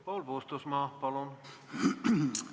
Paul Puustusmaa, palun!